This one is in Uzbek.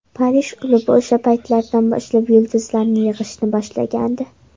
Parij klubi o‘sha paytlardan boshlab yulduzlarni yig‘ishni boshlagandi.